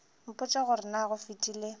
mpotše gore na go fetile